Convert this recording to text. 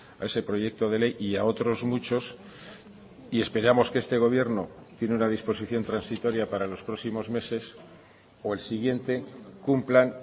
a ese proyecto de ley y a otros muchos y esperamos que este gobierno tiene una disposición transitoria para los próximos meses o el siguiente cumplan